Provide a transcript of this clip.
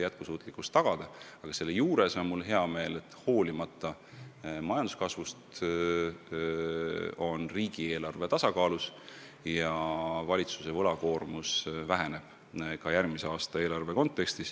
Samas on mul hea meel, et praeguse majanduskasvu juures on riigieelarve tasakaalus ja valitsuse võlakoormus väheneb ka järgmisel aastal.